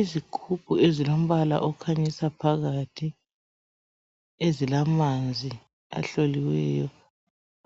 Izigubhu ezilombala okhanyisa phakathi .Ezilamanzi ahloliweyo